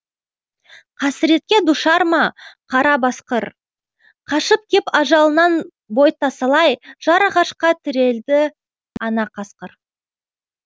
қасіретке душар ма қара басқыр қашып кеп ажалынан бой тасалай жар ағашқа тірелді ана қасқыр